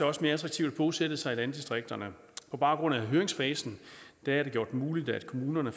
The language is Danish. også mere attraktivt at bosætte sig i landdistrikterne på baggrund af høringsfasen er det gjort muligt at kommunerne